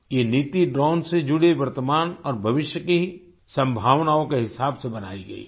ये नीति ड्रोन से जुड़ी वर्तमान और भविष्य की संभावनाओं के हिसाब से बनाई गई है